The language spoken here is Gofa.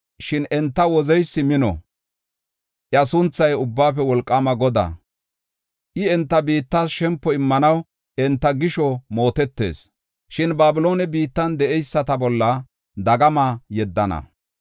Shin enta Wozeysi mino; iya sunthay Ubbaafe Wolqaama Godaa. I, enta biittas shempo immanaw enta gisho mootetees. Shin Babiloone biittan de7eyisata bolla dagama yeddana.